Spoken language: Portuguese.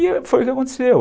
E foi o que aconteceu.